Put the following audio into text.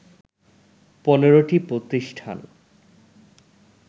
১৫টি প্রতিষ্ঠান